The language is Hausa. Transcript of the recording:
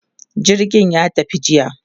jirgin ya tafi jiya